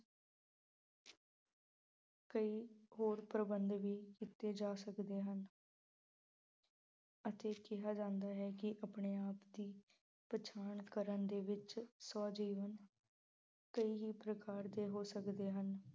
ਕਈ ਹੋਰ ਪ੍ਰਬੰਧ ਵੀ ਕੀਤੇ ਜਾ ਸਕਦੇ ਹਨ ਅਤੇ ਕਿਹਾ ਜਾਂਦਾ ਹੈ ਕਿ ਆਪਣੇ-ਆਪ ਦੀ ਪਛਾਣ ਕਰਨ ਦੇ ਵਿੱਚ ਸਵੈ-ਜੀਵਨ ਕਈ ਹੀ ਪ੍ਰਕਾਰ ਦੇ ਹੋ ਸਕਦੇ ਹਨ।